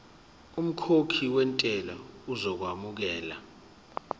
umkhokhi wentela uzokwamukelwa